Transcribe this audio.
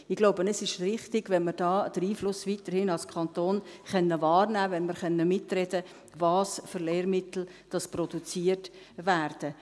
Ich glaube, es ist richtig, wenn wir diesen Einfluss als Kanton weiterhin wahrnehmen können, wenn wir mitreden können, welche Lehrmittel produziert werden.